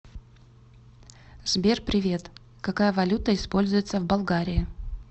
сбер привет какая валюта используется в болгарии